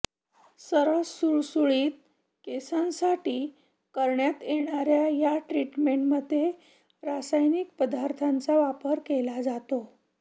सरळ सुरसुळीत केसांसाठी करण्यात येणाऱ्या या ट्रिटमेंटमध्ये रासायनिक पदार्थांचा वापर केला जातो